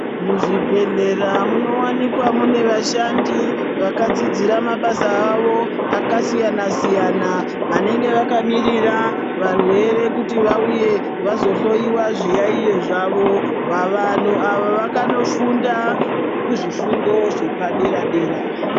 Muzvibhedhlera munowanikwa mune vashandi vakadzidzira mabasa avo akasiyana siyana vanenge vakamirira varwere kuti vauye kuzohloyiwa zviyaiyo zvavo, bva vanhu ava vakanofunda kuzvifundo zvepadera dera.